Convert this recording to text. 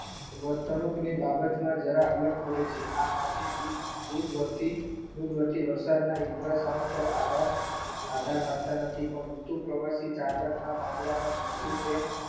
વર્તણુક ની બાબતમાં જરાક અલગ પડે છે આ હાથી દૂર વર્તી વરસાદના ઈંટરસવાં પર આધાર રાખતા નથી ઋતુ પ્રવર્તિત ના મામલા માં નોંદયું તેમ